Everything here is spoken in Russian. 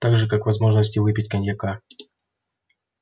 так же как возможности выпить коньяка